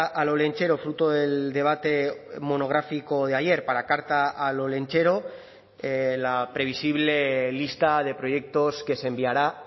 al olentzero fruto del debate monográfico de ayer para carta al olentzero la previsible lista de proyectos que se enviará